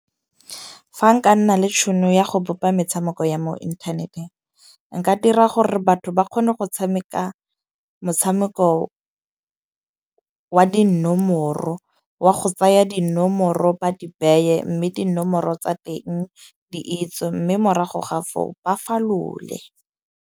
Fa nka nna le tšhono ya go bopa metshameko ya mo inthaneteng, nka dira gore batho ba kgone go tshameka motshameko wa dinomoro, wa go tsaya dinomoro ba di beye. Mme dinomoro tsa teng di itswe. Mme morago ga foo ba falole .